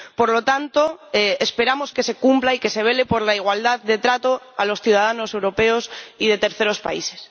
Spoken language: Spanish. Por lo tanto, esperamos que se cumpla y que se vele por la igualdad de trato a los ciudadanos europeos y de terceros países.